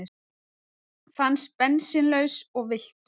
Fannst bensínlaus og villtur